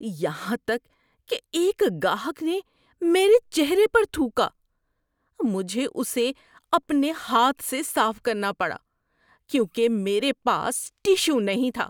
یہاں تک کہ ایک گاہک نے میرے چہرے پر تھوکا۔ مجھے اسے اپنے ہاتھ سے صاف کرنا پڑا کیونکہ میرے پاس ٹشو نہیں تھا۔